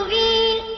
مُّبِينٍ